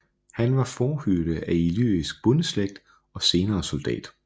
Han var fårehyrde af illyrisk bondeslægt og senere soldat